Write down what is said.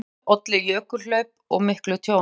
Í gosinu olli jökulhlaup og miklu tjóni.